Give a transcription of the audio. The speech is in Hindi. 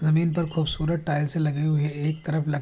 जमीन पर खूबसूरत टाइल्स लगे हुऐ। एक तरफ लक --